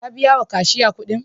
Ka biya wa kashya kuɗin?